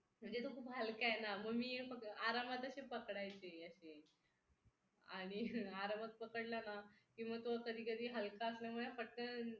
म्हणजे तो खूप हलका आहे ना मग मी आरामात अशी पकडायचे अशी आणि आरामात पकडला ना की मग तो कधीकधी हलका असल्यामुळे पटकन